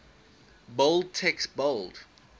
bold text bold